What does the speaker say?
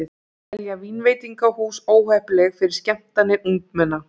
Telja vínveitingahús óheppileg fyrir skemmtanir ungmenna